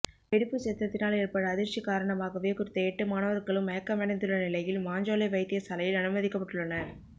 வெடிப்புச் சத்தத்தினால் ஏற்பட்ட அதிர்ச்சி காரணமாகவே குறித்த எட்டு மாணவர்களும் மயக்கமடைந்துள்ள நிலையில் மாஞ்சோலை வைத்தியசாலையில் அனுமதிக்கப்பட்டுள்ளனர்